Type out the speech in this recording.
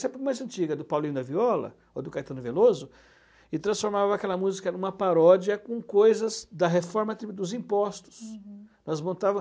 sempre mais antiga, do Paulinho da Viola ou do Caetano Veloso, e transformava aquela música em uma paródia com coisas da reforma dos impostos. Uhum. Nós montava